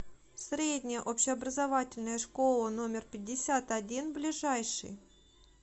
средняя общеобразовательная школа номер пятьдесят один ближайший